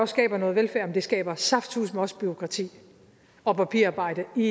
skaber noget velfærd men det skaber saftsuseme også bureaukrati og papirarbejde i